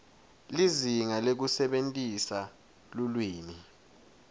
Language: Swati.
lizinga lekusebentisa lulwimi